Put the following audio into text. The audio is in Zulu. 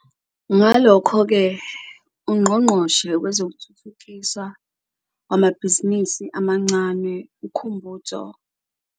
Ngalokho ke, uNgqongqoshe Wezokuthuthukiswa Kwamabhizinisi Amancane uKhumbudzo.